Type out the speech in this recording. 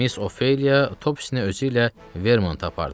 Miss Ofeliya Topsisni özüylə Vermanta apardı.